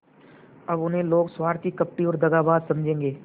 अब उन्हें लोग स्वार्थी कपटी और दगाबाज समझेंगे